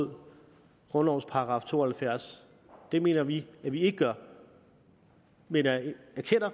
med grundlovens § to og halvfjerds det mener vi at vi ikke gør men jeg erkender